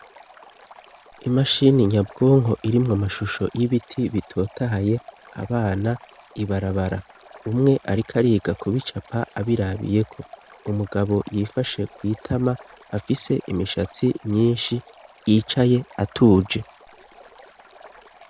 Imashini nyabwonko irimwo amashusho y'ibiti bitotahaye abana ibarabara umwe arikariga kubicapa abirabiyeko umugabo yifashe kwitama afise imishatsi myinshi yicaye atuje.